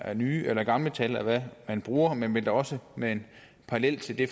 er nye eller gamle tal man bruger men jeg vil da også med en parallel til det